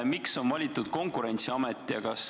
Miks on valitud Konkurentsiamet?